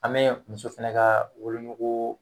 An be muso fɛnɛ ka wolonogoo